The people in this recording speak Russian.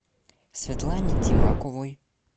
светлане тимаковой